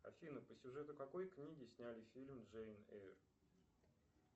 афина по сюжету какой книги сняли фильм джейн эйр